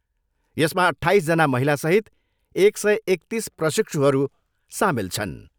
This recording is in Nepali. यसमा अट्ठाइसजना महिलासहित एक सय एकतिस प्रशिक्षुहरू सामेल छन्।